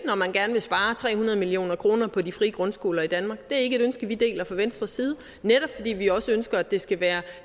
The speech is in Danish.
vil spare tre hundrede million kroner på de frie grundskoler i danmark det er ikke et ønske vi deler fra venstres side netop fordi vi også ønsker at det skal være